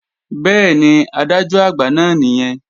Bẹ́ẹ̀ni, Adájọ́-Àgbà náà nìyẹn